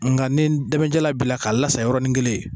Nka nin dɛmɛjalan bila k'a lasa yɔrɔnin kelen